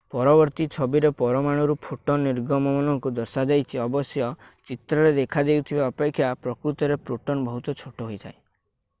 ପରବର୍ତ୍ତୀ ଛବିରେ ପରମାଣୁରୁ ଫୋଟନ୍ ନିର୍ଗମନକୁ ଦର୍ଶାଯାଇଛି ଅବଶ୍ୟ ଚିତ୍ରରେ ଦେଖାଦେଉଥିବା ଅପେକ୍ଷା ପ୍ରକୃତରେ ପ୍ରୋଟନ୍ ବହୁତ ଛୋଟ ହୋଇଥାଏ